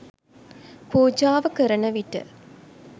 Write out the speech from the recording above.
පූජාව කරන විට